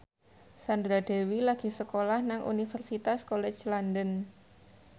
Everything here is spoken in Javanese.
Sandra Dewi lagi sekolah nang Universitas College London